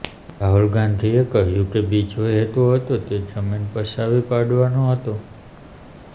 રાહુલ ગાંધીએ કહ્યું કે બીજો હેતુ હતો તે જમીન પચાવી પાડવાનો હતો